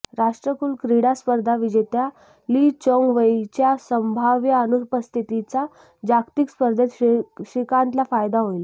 राष्ट्रकुल क्रीडा स्पर्धा विजेत्या ली चोंग वेईच्या संभाव्य अनुपस्थितीचा जागतिक स्पर्धेत श्रीकांतला फायदा होईल